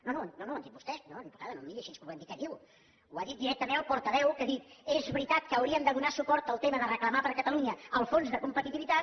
no no ho han dit vostès no diputada no em miri així com volent dir què diu ho ha dit directament el portaveu que ha dit és veritat que hauríem de donar suport al tema de reclamar per a catalunya el fons de competitivitat